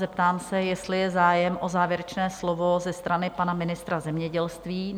Zeptám se, jestli je zájem o závěrečné slovo ze strany pana ministra zemědělství?